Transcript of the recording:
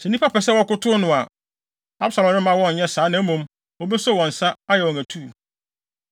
Sɛ nnipa pɛ sɛ wɔkotow no a, Absalom remma wɔn nyɛ saa na mmom obeso wɔn nsa, ayɛ wɔn atuu.